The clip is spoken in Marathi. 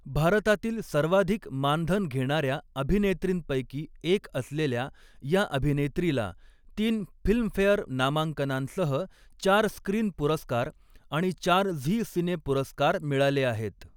भारतातील सर्वाधिक मानधन घेणाऱ्या अभिनेत्रींपैकी एक असलेल्या या अभिनेत्रीला तीन फिल्मफेअर नामांकनांसह चार स्क्रीन पुरस्कार आणि चार झी सिने पुरस्कार मिळाले आहेत.